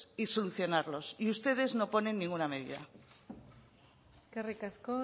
y solucionarlos y ustedes no ponen ninguna medida eskerrik asko